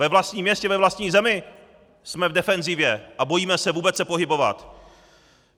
Ve vlastní městě, ve vlastní zemi jsme v defenzivě a bojíme se vůbec se pohybovat!